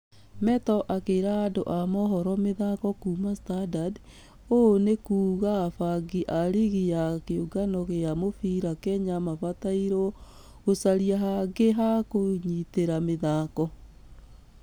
Metto akĩra andũ a mohoro ma mĩthako kuuma standard , Ũũ nĩ kuuga abangi a rigi ya kĩũngano gĩa mũbira kenya mabatairwo gũcaria hangĩ hakũnyitĩra mĩthako.